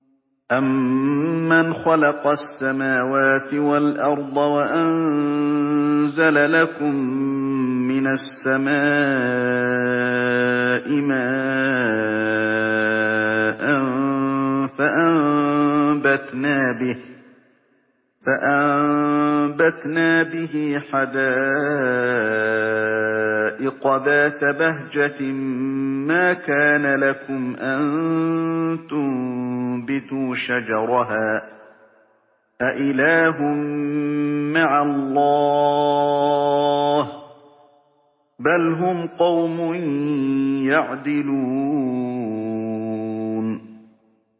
أَمَّنْ خَلَقَ السَّمَاوَاتِ وَالْأَرْضَ وَأَنزَلَ لَكُم مِّنَ السَّمَاءِ مَاءً فَأَنبَتْنَا بِهِ حَدَائِقَ ذَاتَ بَهْجَةٍ مَّا كَانَ لَكُمْ أَن تُنبِتُوا شَجَرَهَا ۗ أَإِلَٰهٌ مَّعَ اللَّهِ ۚ بَلْ هُمْ قَوْمٌ يَعْدِلُونَ